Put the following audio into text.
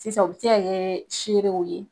Sisan u bɛ se ka kɛ ni seere ye.